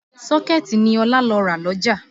Sọkẹ̀tì ni Ọlá lọ rà lọ́jà